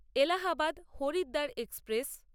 Allahabad Haridwar express